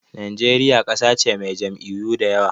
Najeriya ƙasa ce mai jam'iyyu da yawa.